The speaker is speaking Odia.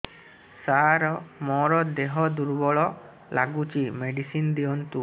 ସାର ମୋର ଦେହ ଦୁର୍ବଳ ଲାଗୁଚି ମେଡିସିନ ଦିଅନ୍ତୁ